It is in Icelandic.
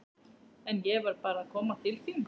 En ég varð bara að koma til þín.